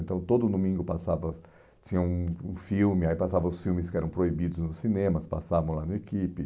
Então, todo domingo passava... Tinha um um filme, aí passavam os filmes que eram proibidos nos cinemas, passavam lá no equipe.